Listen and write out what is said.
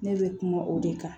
Ne bɛ kuma o de kan